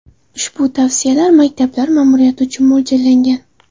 Ushbu tavsiyalar maktablar ma’muriyatlari uchun mo‘ljallangan.